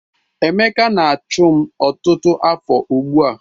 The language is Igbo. Emeka na-achụ m ọtụtụ afọ ugbu a